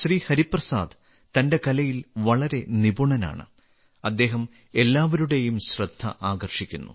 ഹരിപ്രസാദ് തന്റെ കലയിൽ വളരെ നിപുണനാണ് അദ്ദേഹം എല്ലാവരുടെയും ശ്രദ്ധ ആകർഷിക്കുന്നു